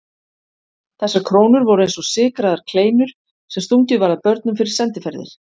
Þessar krónur voru eins og sykraðar kleinur sem stungið var að börnum fyrir sendiferðir.